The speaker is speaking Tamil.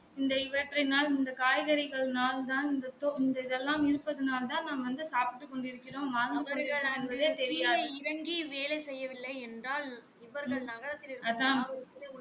இந்த இவற்றினால் இந்த காய்கறினால் தான் இந்த இந்த இதலாம் இருப்பதனால் தான் நாம் வந்து சாப்பிட்டு கொண்டு இருக்கிறோம்